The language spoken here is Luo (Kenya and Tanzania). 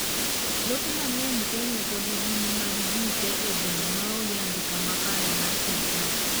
lope mang'eny kenya pod gin mag jii tee e gweng' maonge andika makare mar sirkal